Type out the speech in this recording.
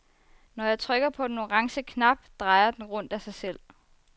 Når jeg trykker på den orange knap, drejer den rundt af sig selv.